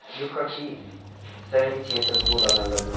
यु कखी सहरी क्षेत्र कू लगण लग्युं।